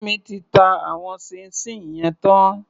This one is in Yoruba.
Fẹ́mi ti ta àwọn ṣíín ṣiìn yẹn tán.